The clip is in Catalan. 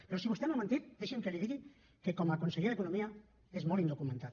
però si vostè no ha mentit deixi’m que li digui que com a conseller d’economia és molt indocumentat